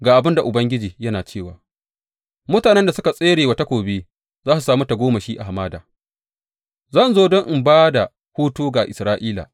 Ga abin da Ubangiji yana cewa, Mutanen da suka tsere wa takobi za su sami tagomashi a hamada; zan zo don in ba da hutu ga Isra’ila.